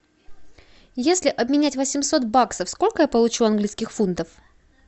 если обменять восемьсот баксов сколько я получу английских фунтов